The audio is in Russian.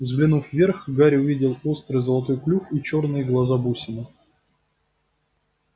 взглянув вверх гарри увидел острый золотой клюв и чёрные глаза-бусины